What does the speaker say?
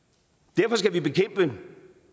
derfor skal vi bekæmpe